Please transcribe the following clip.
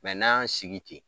Mɛ n'an y'an sigi ten